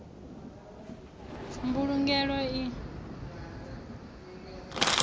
mbulugelo i kungaho na u